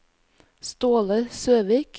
Ståle Søvik